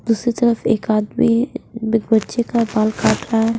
दूसरी तरफ एक आदमी एक बच्चे का बाल काट रहा है।